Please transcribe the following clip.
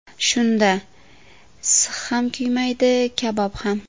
Shunda six ham kuymaydi, kabob ham.